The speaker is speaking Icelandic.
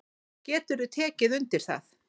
Geturðu tekið undir það?